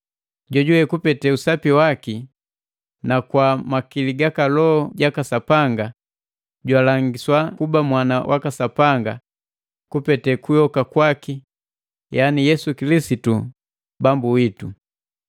jojuwe kupete usapi waki na kwa makili gaka Loho jaka Sapanga, jwalangiswa kuba mwana waka Sapanga kupete kuyoka kwaki yani Yesu Kilisitu Bambu witu.